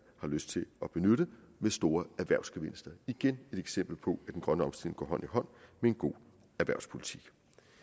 har lyst til at benytte med store erhvervsgevinster til igen et eksempel på at den grønne omstilling går hånd i hånd med en god erhvervspolitik